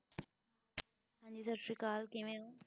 ਹਾਂਜੀ ਸਤਿ ਸ੍ਰੀ ਅਕਾਲ ਕਿਵੇੇਂ ਹੋ?